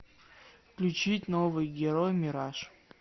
включить новый герой мираж